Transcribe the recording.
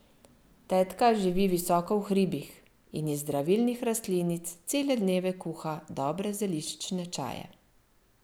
Tetka živi visoko v hribih in iz zdravilnih rastlinic cele dneve kuha dobre zeliščne čaje.